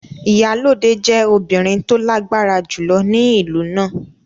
Iyalode jẹ́ obìnrin tó lágbára jùlọ ní ìlú náà.